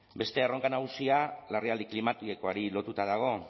beste erronka nagusia larrialdi klimatikoari lotuta dago